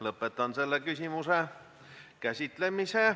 Lõpetan selle küsimuse käsitlemise.